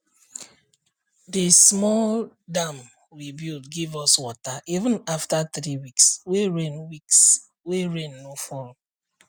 the small dam we build give us water even after three weeks wey rain weeks wey rain no fall